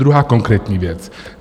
Druhá konkrétní věc.